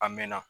A mɛɛnna